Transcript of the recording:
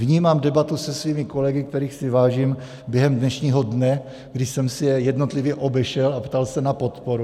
Vnímám debatu se svými kolegy, kterých si vážím, během dnešního dne, kdy jsem si je jednotlivě obešel a ptal se na podporu.